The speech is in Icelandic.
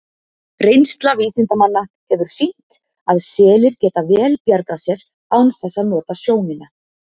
Reynsla vísindamanna hefur sýnt að selir geta vel bjargað sér án þess að nota sjónina.